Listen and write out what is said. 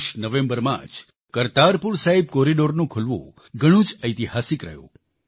ગત વર્ષ નવેમ્બરમાં જ કરતાપુર સાહિબ કોરિડોરનું ખૂલવું ઘણું જ ઐતિહાસિક રહ્યું